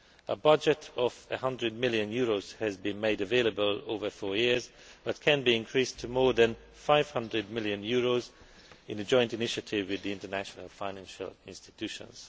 A budget of EUR 100 million has been made available over four years but can be increased to more than EUR 500 million in the joint initiative with the international financial institutions.